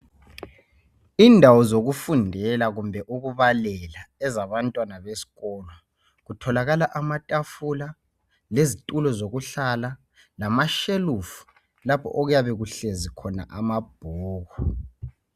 Indawo zokufundela kumbe ukubalela ezabantwana besiko kutholakala amatafula lezitulo zokuhlala lalashelufu lapho okuyabe kuhlezi khona amabhuku.